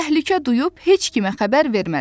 Təhlükə duyub heç kimə xəbər verməz.